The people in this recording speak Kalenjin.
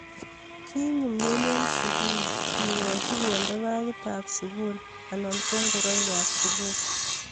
kinyumnyum eng sugul kekoch konde bagit ab sugul anan ko ngoroik ab sugul